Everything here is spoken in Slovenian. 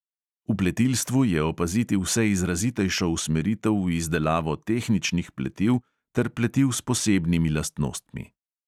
V pletilstvu je opaziti vse izrazitejšo usmeritev v izdelavo tehničnih pletiv ter pletiv s posebnimi lastnostmi.